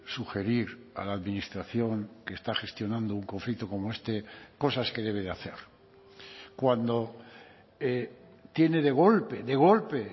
sugerir a la administración que está gestionando un conflicto como este cosas que debe de hacer cuando tiene de golpe de golpe